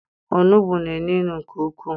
Onugbu na-enu inu nke ukwu,